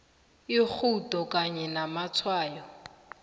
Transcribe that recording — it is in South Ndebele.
irhudo kanye namatshwayo